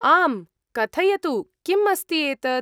आम्, कथयतु किम् अस्ति एतत् ?